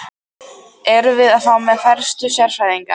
Erum við þá með færustu sérfræðingana?